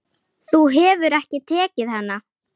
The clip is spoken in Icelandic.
Þú hefur ekki tekið hana?